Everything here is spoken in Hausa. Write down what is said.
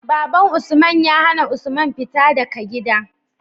Baban usman ya hAna usman fita daka gida